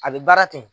A bɛ baara ten